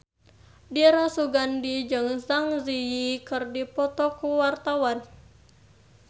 Dira Sugandi jeung Zang Zi Yi keur dipoto ku wartawan